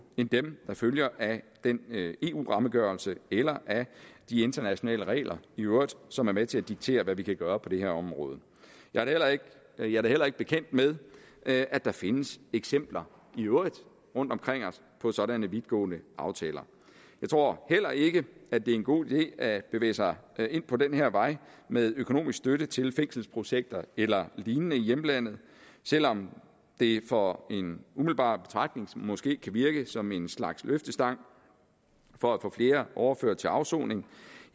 end dem der følger af den eu rammeafgørelse eller af de internationale regler i øvrigt som er med til at diktere hvad vi kan gøre på det her område jeg er da heller ikke bekendt med at at der findes eksempler rundt omkring os på sådanne vidtgående aftaler jeg tror heller ikke at det er en god idé at bevæge sig ind på den her vej med økonomisk støtte til fængselsprojekter eller lignende i hjemlandet selv om det for en umiddelbar betragtning måske kan virke som en slags løftestang for at få flere overført til afsoning